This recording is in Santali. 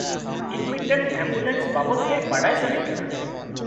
-ᱤᱧ ᱢᱤᱫᱴᱟᱝ ᱮᱢᱵᱩᱞᱮᱱᱥ ᱵᱟᱵᱚᱫ ᱛᱮ ᱵᱟᱰᱟᱭ ᱥᱟᱹᱱᱟᱹᱧ ᱠᱟᱱᱟ ᱾